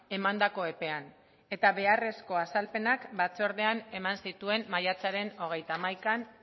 emandako epean eta beharrezko azalpenak batzordean eman zituen maiatzaren hogeita hamaikan